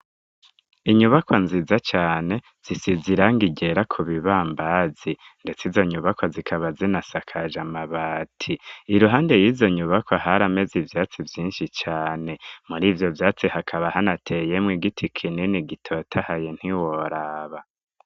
Inyubakwa nziza cane zisize irangi ryera ku bibambazi, ndetse izo nyubakwa zikaba zinasakaje amabati. Iruhande y'izo nyubakwa harameze ivyatsi vyinshi cane, muri ivyo vyatsi hakaba hanateyemwo igiti kinini gitotahaye ntiworaba.